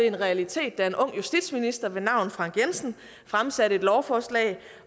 en realitet da en ung justitsminister ved navn frank jensen fremsatte et lovforslag